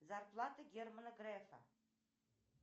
зарплата германа грефа